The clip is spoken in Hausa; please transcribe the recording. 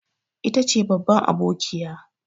Ita ce babban abokiya.